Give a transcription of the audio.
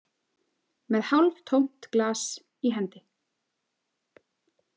Með hálftómt glas í hendi.